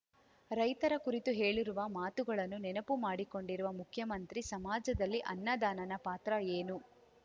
ರೈತರ ಕುರಿತು ಹೇಳಿರುವ ಮಾತುಗಳನ್ನು ನೆನಪು ಮಾಡಿಕೊಂಡಿರುವ ಮುಖ್ಯಮಂತ್ರಿ ಸಮಾಜದಲ್ಲಿ ಅನ್ನದಾನನ ಪಾತ್ರ ಏನು